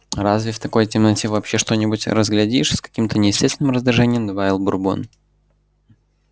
разве в такой темноте вообще что-нибудь разглядишь с каким-то неестественным раздражением добавил бурбон